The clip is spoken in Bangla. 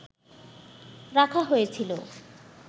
রাখা হয়েছিল